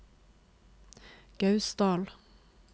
Gausdal